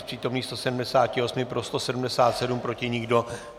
Z přítomných 178 pro 177, proti nikdo.